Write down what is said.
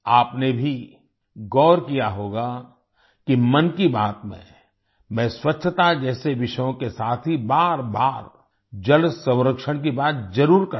आपने भी गौर किया होगा कि मन की बात में मैं स्वच्छता जैसे विषयों के साथ ही बारबार जल संरक्षण की बात जरुर करता हूँ